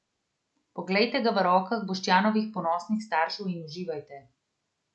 Poglejte ga v rokah Boštjanovih ponosnih staršev in uživajte.